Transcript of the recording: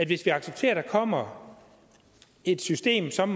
hvis vi accepterer at der kommer et system som